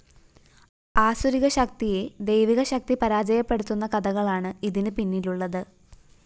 ആസുരിക ശക്തിയെ ദൈവികശക്തി പരാജയപ്പെടുത്തുന്ന കഥകളാണ് ഇതിന് പിന്നിലുള്ളത്